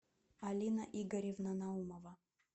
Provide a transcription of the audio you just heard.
алина игоревна наумова